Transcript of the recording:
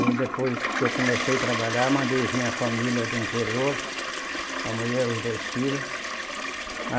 Aí depois que eu comecei a trabalhar, mandei vir a família do interior, a mulher e os dois filhos.